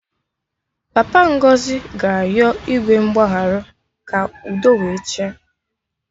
Papa Ngozi ga-ayọ Igwe mgbagharụ ka udo we chịa